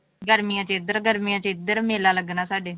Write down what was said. ਗਰਮੀਆਂ ਚ ਇੱਧਰ ਗਰਮੀਆਂ ਚ ਇੱਧਰ ਮੇਲਾ ਲੱਗਣਾ ਸਾ। ਡੇ